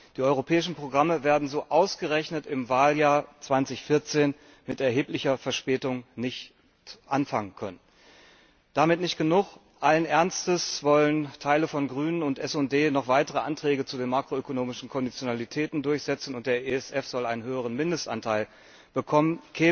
Die europäischen Programme werden so ausgerechnet im Wahljahr 2014 mit erheblicher Verspätung anlaufen können. Damit nicht genug, allen Ernstes wollen Teile von Grünen und SD noch weitere Anträge zu den makroökonomischen Konditionalitäten durchsetzen, und der ESF soll einen höheren Mindestanteil bekommen.